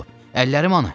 Əllərim hanı?